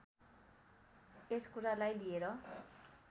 यस कुरालाई लिएर